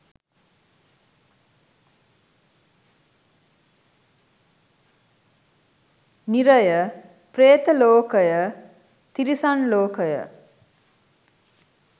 නිරය, ප්‍රේත ලෝකය, තිරිසන් ලෝකය,